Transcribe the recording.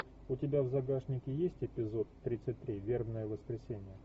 у тебя в загашнике есть эпизод тридцать три вербное воскресенье